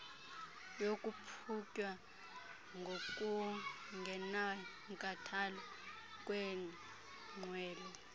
yokuqhutywa ngokungenankathalo kweenqwelo